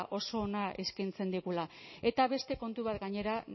oso ona eskaintzen digula eta beste kontu bat gainera